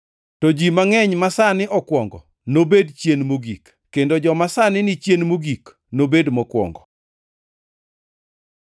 To ji mangʼeny masani okwongo nobed chien mogik, kendo joma sani ni chien mogik, nobed mokwongo.